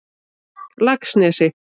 Laxnesi